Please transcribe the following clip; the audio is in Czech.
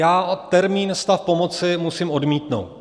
Já termín stav pomoci musím odmítnout.